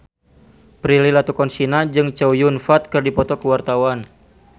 Prilly Latuconsina jeung Chow Yun Fat keur dipoto ku wartawan